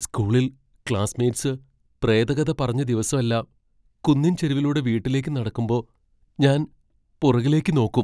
സ്കൂളിൽ ക്ലാസ്മേറ്റ്സ് പ്രേതകഥ പറഞ്ഞ ദിവസെല്ലാം കുന്നിൻ ചെരിവിലൂടെ വീട്ടിലേക്ക് നടക്കുമ്പോ ഞാൻ പുറകിലേക്ക് നോക്കും.